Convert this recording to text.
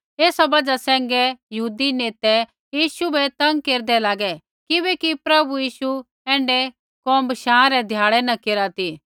ऐसा बजहा सैंघै यहूदी नेतै यीशु बै तंग केरदै लागे किबैकि प्रभु यीशु ऐण्ढै कोम बशाँ रै ध्याड़ै न केरा ती